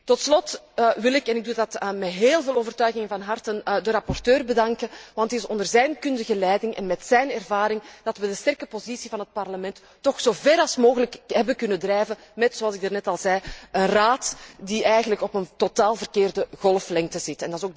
Tot slot wil ik en ik doe dat met heel veel overtuiging van harte de rapporteur bedanken, want het is onder zijn kundige leiding en met zijn ervaring dat we de sterke positie van het Parlement toch zo ver mogelijk hebben kunnen doordrijven met, zoals ik daarnet al zei, een Raad die eigenlijk op een totaal verkeerde golflengte zit.